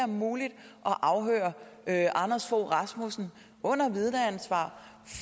muligt at afhøre anders fogh rasmussen under vidneansvar